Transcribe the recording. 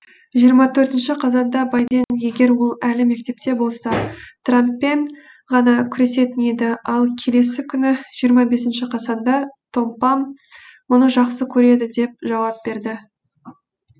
жиырма төртінші қазанда байден егер ол әлі мектепте болса трэмппен ғана күресетін еді ал келесі күні жиырма бесінші қазанда томпам мұны жақсы көреді деп жауап берді